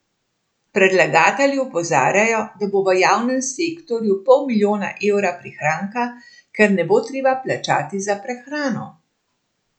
Predlagatelji opozarjajo, da bo v javnem sektorju pol milijona evra prihranka, ker ne bo treba plačati za prehrano.